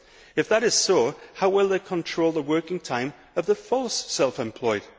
If that is so, how will they control the working time of the false' self employed?